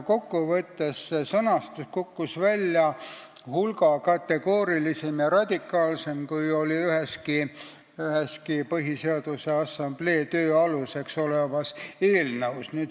Kokku võttes kukkus see sõnastus välja hulga kategoorilisem ja radikaalsem, kui oli üheski Põhiseaduse Assamblee töö aluseks olnud eelnõus.